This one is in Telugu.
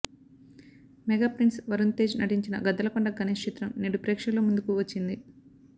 మెగా ప్రిన్స్ వరుణ్ తేజ్ నటించిన గద్దలకొండ గణేష్ చిత్రం నేడు ప్రేక్షకుల ముందుకు వచ్చింది